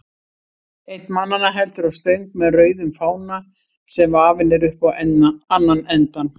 Einn mannanna heldur á stöng með rauðum fána, sem vafinn er upp á annan endann.